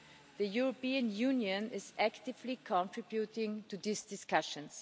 The European Union is actively contributing to these discussions.